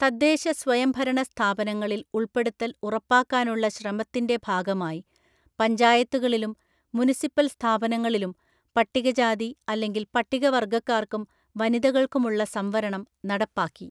തദ്ദേശ സ്വയംഭരണ സ്ഥാപനങ്ങളിൽ ഉള്‍പ്പെടുത്തല്‍ ഉറപ്പാക്കാനുള്ള ശ്രമത്തിന്‍റെ ഭാഗമായി പഞ്ചായത്തുകളിലും മുനിസിപ്പൽ സ്ഥാപനങ്ങളിലും പട്ടികജാതി അല്ലെങ്കിൽ പട്ടികവർഗ്ഗക്കാര്‍ക്കും വനിതകൾക്കുമുള്ള സംവരണം നടപ്പാക്കി.